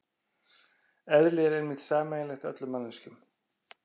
Eðli er einmitt sameiginlegt öllum manneskjum.